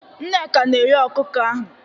Nneka na-eghe ọkụkọ ahụ.